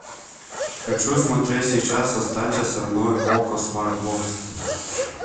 хочу смотреть сейчас останься со мной окко смарт бокс